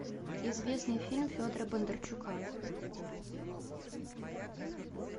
известный фильм федора бондарчука